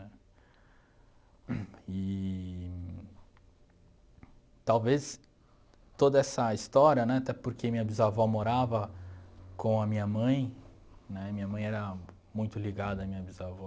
Eee talvez toda essa história, né, até porque minha bisavó morava com a minha mãe, né, e minha mãe era muito ligada à minha bisavó,